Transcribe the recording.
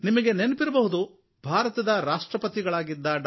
ನಿಮಗೆ ನೆನಪಿರಬಹುದು ಭಾರತದ ರಾಷ್ಟ್ರಪತಿಗಳಾಗಿದ್ದ ಡಾ